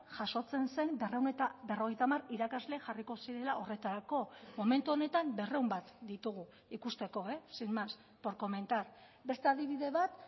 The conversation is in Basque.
jasotzen zen berrehun eta berrogeita hamar irakasle jarriko zirela horretarako momentu honetan berrehun bat ditugu ikusteko sin más por comentar beste adibide bat